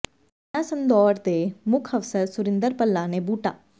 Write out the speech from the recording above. ਥਾਣਾ ਸੰਦੌੜ ਦੇ ਮੁੱਖ ਅਫ਼ਸਰ ਸੁਰਿੰਦਰ ਭੱਲਾ ਨੇ ਬੂਟਾ